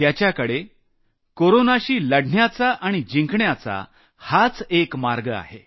त्याच्याकडे कोरोनाशी लढण्यासाठी आणि जिंकण्याचा हाच एक मार्ग आहे